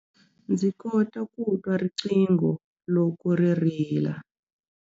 Ndzi kota ku twa riqingho loko ri rila.